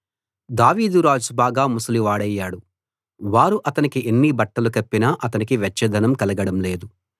దావీదు రాజు బాగా ముసలివాడయ్యాడు వారు అతనికి ఎన్ని బట్టలు కప్పినా అతనికి వెచ్చదనం కలగడం లేదు